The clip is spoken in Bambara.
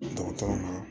Dɔgɔtɔrɔw ma